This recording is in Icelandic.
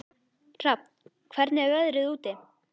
Hrafn, hvernig er veðrið úti?